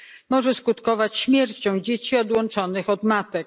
może skutkować śmiercią dzieci odłączonych od matek.